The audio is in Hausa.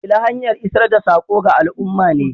Shela hanya isar da saƙo ga al'umma ne.